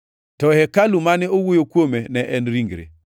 To hekalu mane owuoyo kuome ne en ringre.